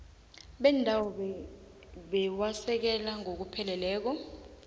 bendawo buwasekela ngokupheleleko